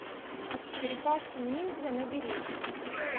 черепашки ниндзя набери